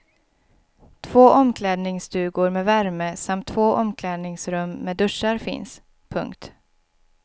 Två omklädningsstugor med värme samt två omklädningsrum med duschar finns. punkt